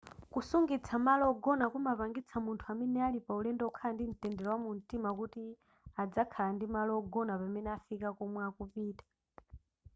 kusungitsa malo ogona amapangitsa munthu amene ali paulendo kukhala ndi mtendere wamumtima kuti adzakhala ndi malo ogona pamene afika komwe akupita